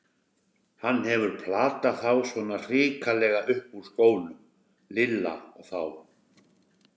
Hann hefur platað þá svona hrikalega upp úr skónum, Lilla og þá!